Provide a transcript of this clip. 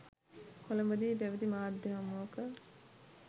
කොළඹදී පැවති මාධ්‍ය හමුවක